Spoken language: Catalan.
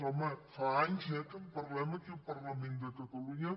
home fa anys eh que en parlem aquí al parlament de catalunya